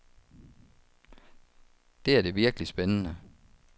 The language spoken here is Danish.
Det er det virkelig spændende.